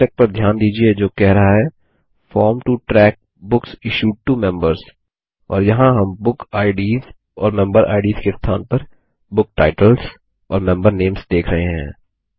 शीर्षक पर ध्यान दीजिये जो कह रहा है form to track books issued to members और यहाँ हम बुकिड्स और मेंबेरिड्स के स्थान पर बुक टाइटल्स और मेंबर नेम्स देख रहे हैं